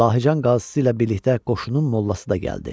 Lahıcan qazısı ilə birlikdə qoşunun mollası da gəldi.